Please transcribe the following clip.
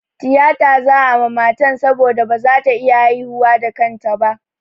Tiyata za'a ma matan saboda ba za ta iya haihuwa da kanta ba.